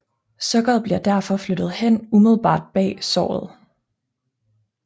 Sukkeret bliver derefter flyttet hen umiddelbart bag såret